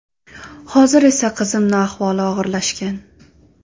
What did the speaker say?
Hozir esa qizimni ahvoli og‘irlashgan.